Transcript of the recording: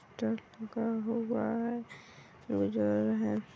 Truck का हुआ है जा रहे है।